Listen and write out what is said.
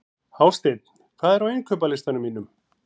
Hásteinn, hvað er á innkaupalistanum mínum?